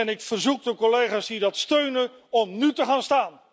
Ik verzoek de collega's die dat steunen om nu te gaan staan.